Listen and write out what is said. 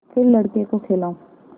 फिर लड़के को खेलाऊँ